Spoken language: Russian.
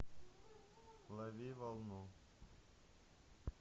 лови волну